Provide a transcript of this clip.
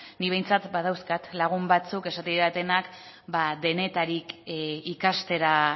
nik behintzat badauzkat lagun batzuk esaten didatenak denetarik ikastera